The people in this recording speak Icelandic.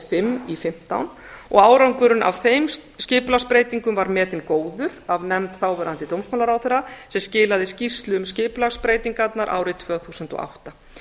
fimm í fimmtán og árangurinn af þeim skipulagsbreytingum var metinn góður af nefnd þáverandi dómsmálaráðherra sem skilaði skýrslu um skipulagsbreytingarnar árið tvö þúsund og átta